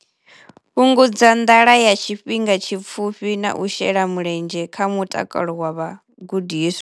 Fhungudza nḓala ya tshifhinga tshipfufhi na u shela mulenzhe kha mutakalo wa vhagudiswa.